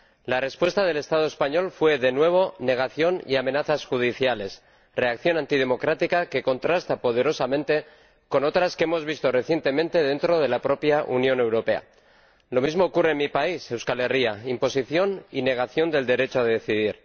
La respuesta del Estado español fue de nuevo negación y amenazas judiciales, reacción antidemocrática que contrasta poderosamente con otras que hemos visto recientemente dentro de la propia Unión Europea. Lo mismo ocurre en mi país, Euskal Herria imposición y negación del derecho a decidir.